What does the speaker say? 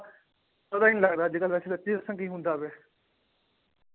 ਪਤਾ ਹੀ ਨੀ ਲੱਗਦਾ ਅੱਜ ਕੱਲ੍ਹ ਵੈਸੇ ਸੱਚੀ ਦੱਸਾਂ ਕੀ ਹੁੰਦਾ ਪਿਆ।